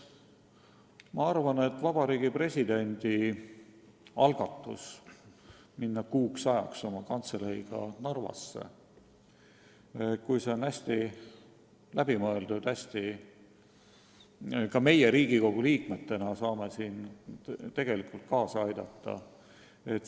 Ma arvan, et Vabariigi Presidendi algatusele minna kuuks ajaks oma kantseleiga Narvasse saame ka meie, kui see on hästi läbi mõeldud, Riigikogu liikmetena kaasa aidata.